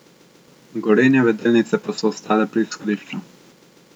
Gorenjeve delnice pa so ostale pri izhodišču.